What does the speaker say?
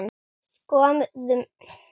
Skoðum þetta nánar